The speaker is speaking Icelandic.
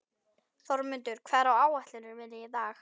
Þórmundur, hvað er á áætluninni minni í dag?